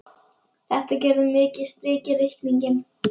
Þetta gerði mikið strik í reikninginn.